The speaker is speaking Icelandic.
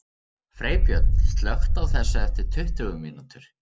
Freybjörn, slökktu á þessu eftir tuttugu mínútur.